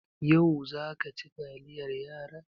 Yau za ka ci taliyar yaran?